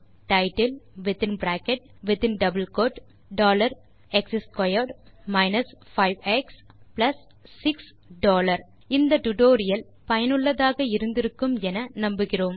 titlex2 5எக்ஸ்6 இந்த tutorial ஐ ரசித்திருப்பீர்கள் பயனுள்ளதாக இருக்கும் என்று நினைக்கிறோம்